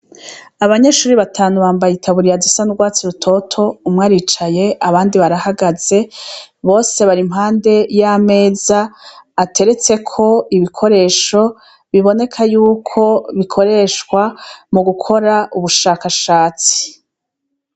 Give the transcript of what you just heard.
Abanyeshure batanu bambaye itaburiya zisa n'urwatsi rutoto umwe aricaye abandi barahagaze bose bari impande yameza ateretseko ibikoresho biboneka yuko bikoreshwa mugukora ubushakashatsi.